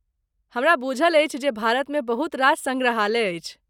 हमरा बुझल अछि जे भारतमे बहुत रास सङ्ग्रहालय अछि